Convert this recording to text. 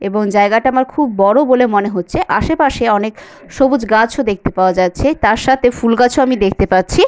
এবং জায়গাটা আমার খুব বড় বলে মনে হচ্ছে | আশেপাশে অনেক সবুজ গাছ ও দেখতে পাওয়া যাচ্ছে |তার সাথে ফুল গাছ ও আমি দেখতে পাচ্ছি।